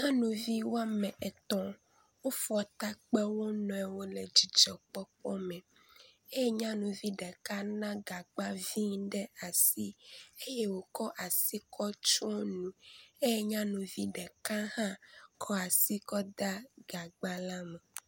Nyɔnu wome etɔ̃ wofɔ ta kpe wonuiwo le dzidzɔkpɔkpɔ me eye nyɔnuvi ɖeka le gagbavi aɖe ɖe asi eye wokɔ asi kɔ tsɔ nu eye nyɔnuvi ɖeka hã kɔ asi kɔ de gagba la me.